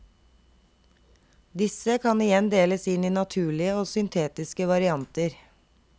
Disse kan igjen deles inn i naturlige og syntetiske varianter.